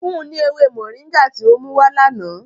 Fun un ni ewe mọringá ti o muwa lana!